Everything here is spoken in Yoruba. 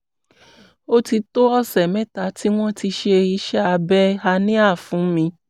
ó ti tó ọ̀sẹ̀ mẹ́ta tí wọ́n ti ṣe iṣẹ́ abẹ hernia fún mi